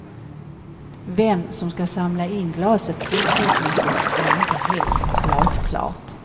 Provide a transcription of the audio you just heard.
Vem som ska samla in glaset fortsättningvis är inte helt glasklart.